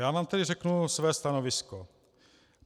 Já vám tedy řeknu své stanovisko.